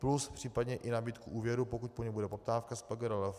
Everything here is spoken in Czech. Plus případně i nabídku úvěru, pokud po něm bude poptávka z PGRLF.